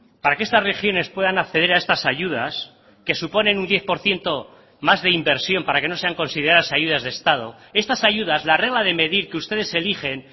para que estas regiones puedan acceder a estas ayudas que suponen un diez por ciento más de inversión para que no sean consideradas ayudas de estado estas ayudas la regla de medir que ustedes eligen